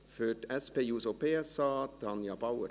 Für die SP-JUSO-PSA, Tanja Bauer.